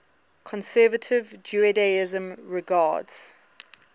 conservative judaism regards